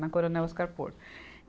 Na Coronel Oscar Porto.